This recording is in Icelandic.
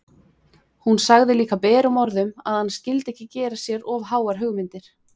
Hún sagði líka berum orðum að hann skyldi ekki gera sér of háar hugmyndir!